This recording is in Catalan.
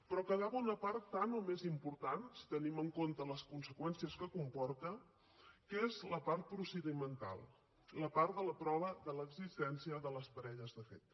però quedava una part tant o més important si tenim en compte les conseqüències que comporta que és la part procedimental la part de la prova de l’existència de les parelles de fet